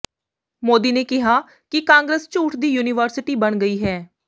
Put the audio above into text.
ਮੋਦੀ ਨੇ ਕਿਹਾ ਕਿ ਕਾਂਗਰਸ ਝੂਠ ਦੀ ਯੂਨੀਵਰਸਿਟੀ ਬਣ ਗਈ ਹੈ